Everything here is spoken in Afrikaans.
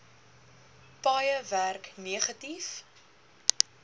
paaie werk negatief